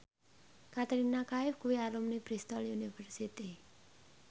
Katrina Kaif kuwi alumni Bristol university